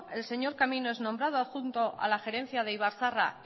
el señor camino es nombrado adjunto a la gerencia de ibarzaharra